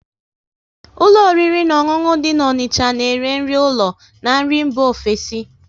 Ụlọ oriri na ọṅụṅụ dị na Onicha na ere nri ụlọ na nri mba ofesi